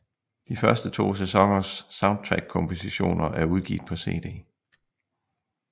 De første to sæsoners soundtrackkompositioner er udgivet på cd